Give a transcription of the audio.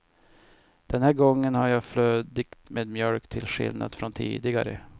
Den här gången har jag flödigt med mjölk till skillnad från tidigare.